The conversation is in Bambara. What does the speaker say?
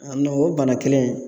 A o bana kelen ye